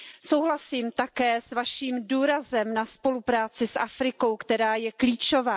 Souhlasím také s Vaším důrazem na spolupráci s Afrikou, která je klíčová.